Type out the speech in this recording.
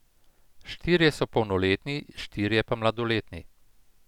Štirje so polnoletni, štirje pa mladoletni.